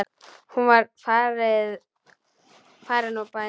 Hún var farin úr bænum.